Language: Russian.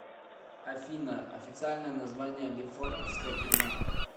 афина официальное название лефортовская тюрьма